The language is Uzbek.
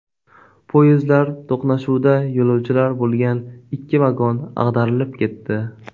Poyezdlar to‘qnashuvida yo‘lovchilar bo‘lgan ikki vagon ag‘darilib ketdi.